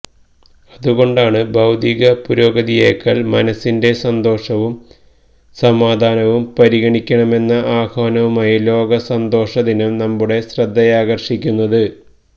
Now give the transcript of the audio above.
അതുകൊണ്ടാണ് ഭൌതിക പുരോഗതിയേക്കാൾ മനസിന്റെ സന്തോഷവും സമാധാനവും പരിഗണിക്കണമെന്ന ആഹ്വാനവുമായി ലോക സന്തോഷ ദിനം നമ്മുടെ ശ്രദ്ധയാകർഷിക്കുന്നത്